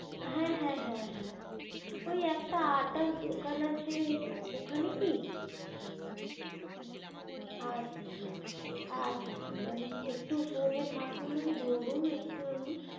হ্যা হ্যা হ্যা হ্যা ওই একটা আটার দোকান আছে ওখানে কি আচ্ছা আচ্ছা আচ্ছা আচ্ছা আপনে একটু phone এ থাকুন mam একটু ধরুন